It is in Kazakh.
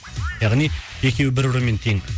яғни екеуі бір бірімен тең